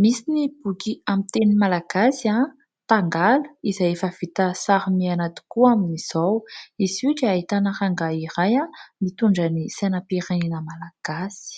Misy ny boky amin'ny teny malagasy ''tangala'' izay efa vita sary miaina tokoa amin'izao. Izy io dia ahitana rangahy iray mitondra ny sainam-pirenena malagasy.